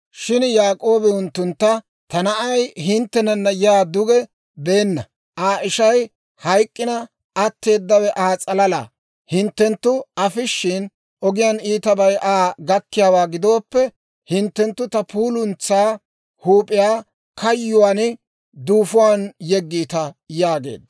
Shin Yaak'oobi unttuntta, «Ta na'ay hinttenana yaa duge beenna; Aa ishay hayk'k'ina, atteedawe Aa s'alala; hinttenttu afishshin, ogiyaan iitabay Aa gakkiyaawaa gidooppe, hinttenttu ta puuluntsaa huup'iyaa kayyuwaan duufuwaan yeggiita» yaageedda.